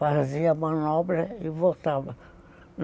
Fazia manobra e voltava.